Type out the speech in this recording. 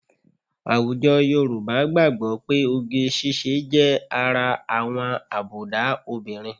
Àwùjọ Yorùbá gbàgbọ́ pé oge ṣíṣe jẹ́ ara àwọn àbùdá obìnrin